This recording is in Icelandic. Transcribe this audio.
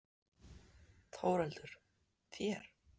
Þórhildur: Þér?